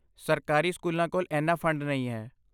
ਸਰਕਾਰੀ ਸਕੂਲਾਂ ਕੋਲ ਇੰਨਾ ਫੰਡ ਨਹੀਂ ਹੈ।